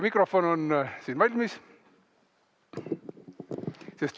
Mikrofon on valmis.